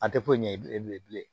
A tɛ foyi ɲɛ bilen bilen bilen